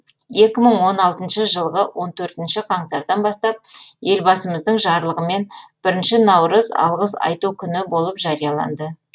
екі мың он алтыншы жылғы он төртінші қаңтардан бастап елбасымыздың жарлығымен бірінші наурыз алғыс айту күні болып жарияланды